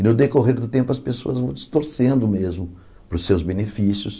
E no decorrer do tempo as pessoas vão distorcendo mesmo para os seus benefícios.